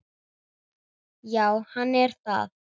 Já, hann er það.